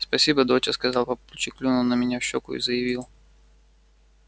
спасибо доча сказал папульчик клюнул меня в щеку и заявил